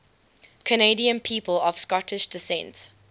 canadian people of scottish descent